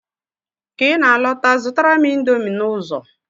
Ka I na-alọta, zụtara m indomi n'ụzọ!